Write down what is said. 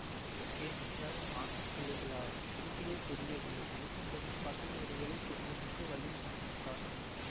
okay நீங்கள் ஆண் பிள்ளைகளா இருட்டிலே தெரியவில்லை வெளிச்சம் போட்டு பார்த்தால் ஒரு வேளை தெரியும் என்று வள்ளி முணுமுணுத்தாள்